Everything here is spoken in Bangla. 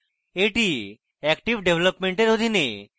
এটি active ডেভেলপমেন্টের অধীনে